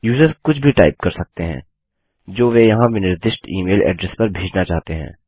user कुछ भी type कर सकते हैं जो वे यहाँ विनिर्दिष्ट इमेल एड्रेस पर भेजना चाहते हैं